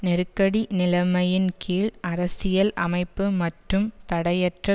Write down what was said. நெருக்கடி நிலமையின்கீழ் அரசியல் அமைப்பு மற்றும் தடையற்ற